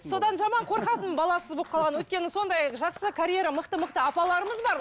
содан жаман қорқатынмын баласыз болып қалған өйткені сондай жақсы карьера мықты мықты апаларымыз бар